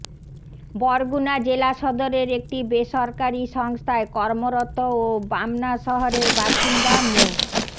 বরগুনা জেলা সদরের একটি বেসরকারী সংস্থায় কর্মরত ও বামনা শহরের বাসিন্দা মো